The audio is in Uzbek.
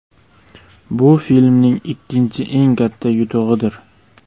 Bu filmning ikkinchi eng katta yutug‘idir.